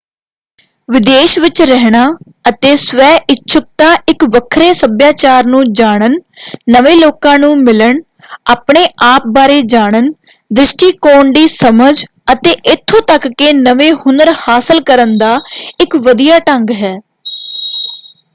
ਵਿਦੇਸ਼ ਵਿੱਚ ਰਹਿਣਾ ਅਤੇ ਸਵੈਇੱਛੁਕਤਾ ਇੱਕ ਵੱਖਰੇ ਸੱਭਿਆਚਾਰ ਨੂੰ ਜਾਣਨ ਨਵੇਂ ਲੋਕਾਂ ਨੂੰ ਮਿਲਣ ਆਪਣੇ ਆਪ ਬਾਰੇ ਜਾਣਨ ਦ੍ਰਿਸ਼ਟੀਕੋਣ ਦੀ ਸਮਝ ਅਤੇ ਇੱਥੋਂ ਤੱਕ ਕਿ ਨਵੇਂ ਹੁਨਰ ਹਾਸਲ ਕਰਨ ਦਾ ਇੱਕ ਵਧੀਆ ਢੰਗ ਹੈ।